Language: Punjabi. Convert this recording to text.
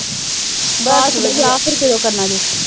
ਵਿਆਹ ਫਿਰ ਕਦੋਂ ਕਰਨਾ ਜੇ।